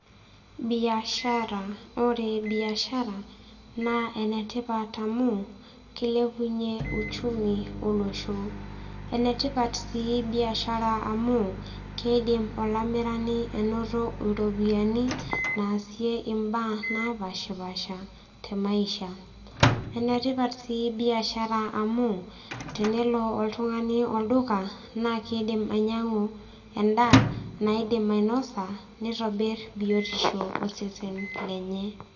Biashara ore biashara naa enetipat amu kilepunyie uchumi olosho enetipat sii biashara amu kidim olamirani anoto iropiyiani naasie imbaa napashipasha te maisha enetipat sii biashara amu tenelo oltung'ani olduka naa kiidim ainyiang'u endaa naidim ainosa nitobirr biotisho osesen lenye.